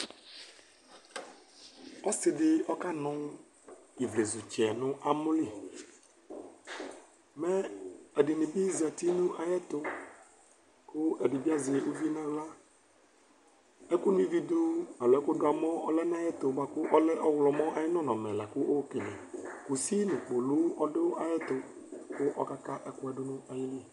Ɔsɩ dɩ ɔkanʋ ivlezutsɛ nʋ amɔ li Mɛ ɛdɩnɩ bɩ zati nʋ ayɛtʋ kʋ ɛdɩ bɩ azɛ uvi nʋ aɣla Ɛkʋno ivi dʋ alo ɛkʋdʋ amɔ lɛ nʋ ayɛtʋ bʋa kʋ ɔlɛ ɔvlɔmɔ ayʋ nɔnɔmɛ la kʋ ayɔkele Kusi nʋ kpolu ɔdʋ ayɛtʋ kʋ ɔkaka ɛkʋ yɛ dʋ nʋ ayili